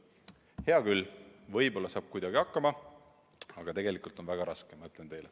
Hea küll, võib-olla saab kuidagi hakkama, aga tegelikult on väga raske, ma ütlen teile.